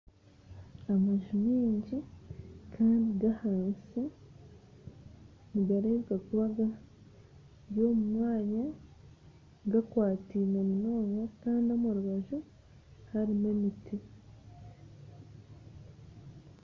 Amanju maingi kandi g'ahansi nigareebeeka kuba gari omu mwanya gakwatiine munonga kandi omu rubanju tiharimu emiti